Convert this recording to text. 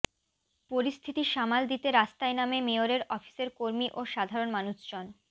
পরিস্থিতি সামাল দিতে রাস্তায় নামে মেয়রের অফিসের কর্মী ও সাধরণ মানুষজন